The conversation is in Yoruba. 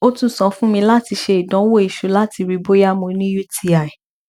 o tun sọ fun mi lati ṣe idanwo iṣu lati rii boya mo ni uti